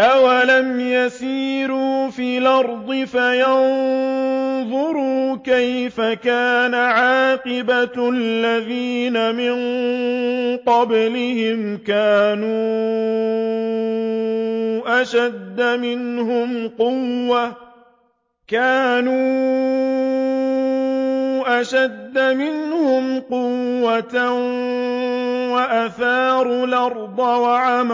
أَوَلَمْ يَسِيرُوا فِي الْأَرْضِ فَيَنظُرُوا كَيْفَ كَانَ عَاقِبَةُ الَّذِينَ مِن قَبْلِهِمْ ۚ كَانُوا أَشَدَّ مِنْهُمْ قُوَّةً وَأَثَارُوا الْأَرْضَ وَعَمَرُوهَا